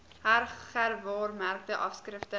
heg gewaarmerkte afskrifte